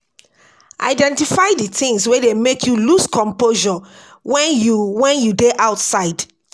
Identify di things wey dey make you loose composure when you when you dey outside